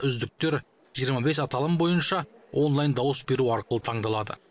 үздіктер жиырма бес аталым бойынша онлайн дауыс беру арқылы таңдалады